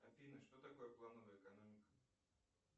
афина что такое плановая экономика